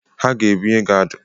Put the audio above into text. Ha ga ebunye gị adụ.